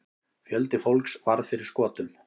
Fjöldi fólks varð fyrir skotum.